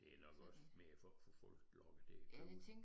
Det nok også mere for at få folk lokket til at købe